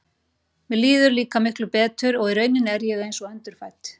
Mér líður líka miklu betur og í rauninni er ég einsog endurfædd.